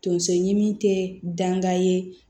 Tonso ɲimi te dan ka ye